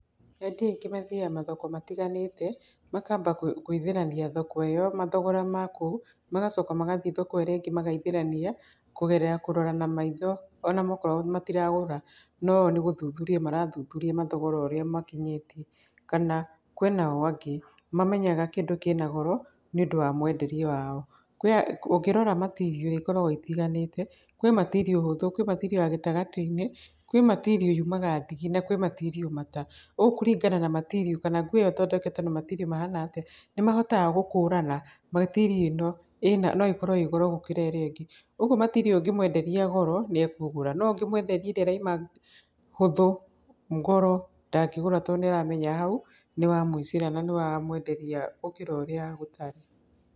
Endia aingĩ mathiaga mathoko matiganĩte, makamba gwĩ, gwĩthĩrania thoko ĩyo mathogora makũu, magacoka magathiĩ thoko ĩrĩa ĩngĩ magaithĩrania kũgerera kũrora na maitho onamakorwo matiragũra, no o nĩ gũthuthuria marathuthuria mathogora ũrĩa makinyĩtie. Kana kwĩnao angĩ mamenya kĩndũ kĩna goro nĩ ũndũ wa mwenderie wao. Kwĩa, ũngĩrora material iria ikoragwo itiganĩte, kwĩ material hũthũ, kwĩ material ya gĩtagatĩ-inĩ, kwĩ material yumaga ndigi na kwĩ material mata. Ũũ kũringana na material kana nguo ĩyo ĩthondeketwo na material mahana atĩa nĩmahotaga gũkũrana material ĩno ĩna, no ĩkorwo ĩĩ goro gũkĩra ĩrĩa ĩngĩ. Ũgwo material ĩyo ũngĩmwenderia goro nĩekũgũra, no ũngĩmwenderia ĩrĩa ĩraima hũthũ goro ndangĩgũra tondũ nĩ aramenya hau nĩwamũicĩra na nĩwamwenderia gũkĩra ũrĩa gũtarĩ.